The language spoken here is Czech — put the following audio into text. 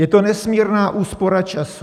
Je to nesmírná úspora času.